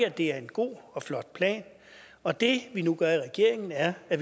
at det er en god og flot plan og det vi nu vil gøre i regeringen er at